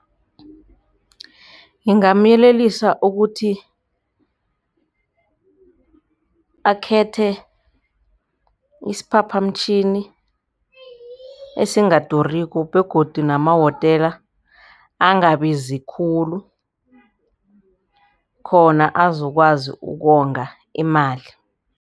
Ngingamyelelisa ukuthi akhethe isiphaphamtjhini esingaduriko begodu namahotela angabizi khulu khona azokwazi ukonga imali.